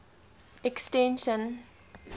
extension